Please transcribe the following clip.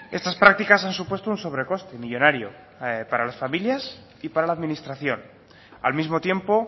estas prácticas han supuesto un sobrecoste millónario para las familias y para la administración al mismo tiempo